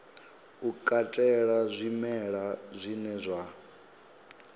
u katela zwimela zwine zwa